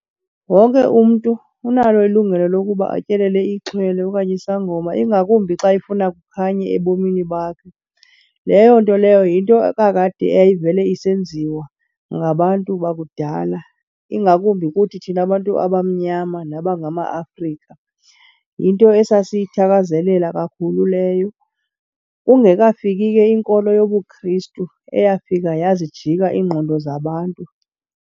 Wonke umntu unalo ilungelo lokuba atyelele ixhwele okanye isangoma, ingakumbi xa efuna kukhanye ebomini bakhe. Leyo nto leyo yinto kakade eyayivele isenziwa ngabantu bakudala, ingakumbi kuthi thina bantu abamnyama nabangamaAfrika. Yinto esasiyithakazelela kakhulu leyo, kungekafiki ke inkolo yobuKristu eyafika yazijika iingqondo zabantu.